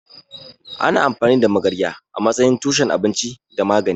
Ana amfani da magarya a matsayin tushen abinci da magani.